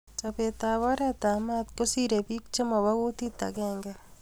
Chobet ab oret ab mat kosirei pik che mobo kutit agenge